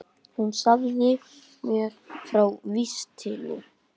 Hún sagði mér frá vistinni.